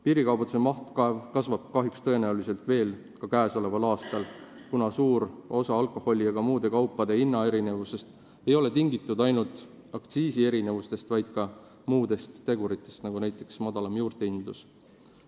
Piirikaubanduse maht kasvab kahjuks tõenäoliselt veel ka käesoleval aastal, kuna suur osa alkoholi ja ka muude kaupade hinnaerinevustest ei ole tingitud ainult aktsiiside erinevusest, vaid ka muudest teguritest, näiteks madalamast juurdehindlusest.